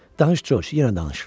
Danış, Corc, yenə danış!